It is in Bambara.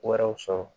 Wɛrɛw sɔrɔ